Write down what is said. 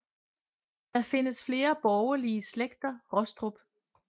Der findes flere borgelige slægter Rostrup